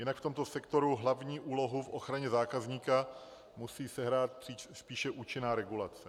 Jinak v tomto sektoru hlavní úlohu v ochraně zákazníka musí sehrát spíše účinná regulace.